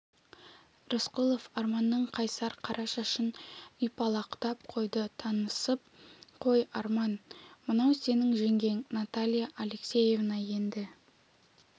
рысқұлов арманның қайсар қара шашын ұйпалақтап қойды танысып қой арман мынау сенің жеңгең наталья алексеевна енді